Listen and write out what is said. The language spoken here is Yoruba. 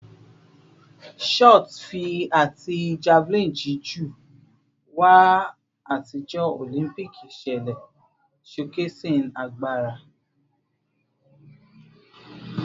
Shot fi ati javelin jiju wà atijọ Olympic iṣẹlẹ, showcasing agbara